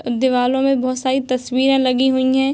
दीवालो में बोहोत सारी तस्वीरे लगी हुईं हैं।